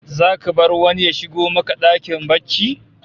Zaka bar wani ya shigo maka dakin barci?